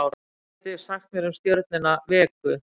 hvað getið þið sagt mér um stjörnuna vegu